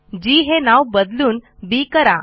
जी हे नाव बदलून बी करा